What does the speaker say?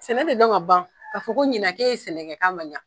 Sɛnɛ de dɔn ka ban k'a fɔ ko ɲina k'e ye sɛnɛkɛ k'a ma ɲan!